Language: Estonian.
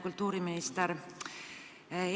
Kultuuriminister!